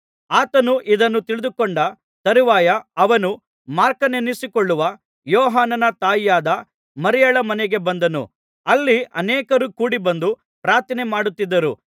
ಆತನು ಇದನ್ನು ತಿಳಿದುಕೊಂಡ ತರುವಾಯ ಅವನು ಮಾರ್ಕನೆನಿಸಿಕೊಳ್ಳುವ ಯೋಹಾನನ ತಾಯಿಯಾದ ಮರಿಯಳ ಮನೆಗೆ ಬಂದನು ಅಲ್ಲಿ ಅನೇಕರು ಕೂಡಿಬಂದು ಪ್ರಾರ್ಥನೆಮಾಡುತ್ತಿದ್ದರು